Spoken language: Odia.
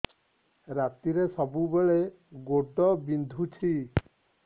ରାତିରେ ସବୁବେଳେ ଗୋଡ ବିନ୍ଧୁଛି